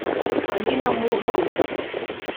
алина мурзина